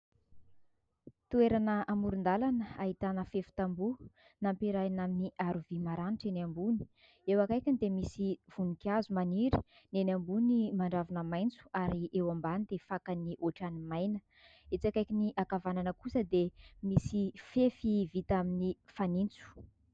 Toerana amoron-dalana. Ahitana fefy tamboho. Nampiarahana amin'ny aro vy maranitra eny ambony. Eo akaikiny dia misy voninkazo maniry ; ny eny ambony mandravina maitso ary eo ambany dia fakany ohatran'ny maina ; etsy akaikiny ankavanana kosa dia misy fefy vita amin'ny fanitso.